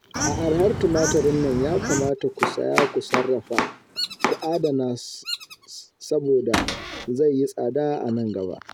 A arhar tumatirin nan ya kamata ku saya ku sarrafa, ku adana saboda zai yi tsada a gaba